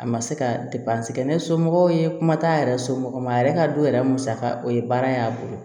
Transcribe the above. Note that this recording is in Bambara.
A ma se ka kɛ ne somɔgɔw ye kuma t'a yɛrɛ somɔgɔ ma a yɛrɛ ka du yɛrɛ musaka o ye baara in y'a bolo